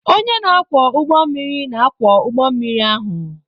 Onye na-akwọ ụgbọ mmiri na-akwọ ụgbọ mmiri ahụ.